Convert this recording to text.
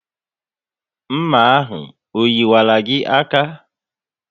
Nma ahụ o yiwaru gị aka?